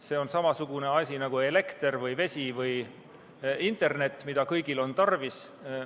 See on samasugune asi nagu elekter või vesi või internet, mida kõigil on tarvis.